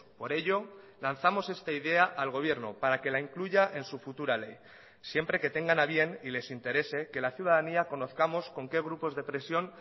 por ello lanzamos esta idea al gobierno para que la incluya en su futura ley siempre que tengan a bien y les interese que la ciudadanía conozcamos con qué grupos de presión